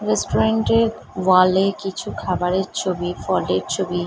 restaurant -এর wall -এ কিছু খাবারের ছবি ফলের ছবি--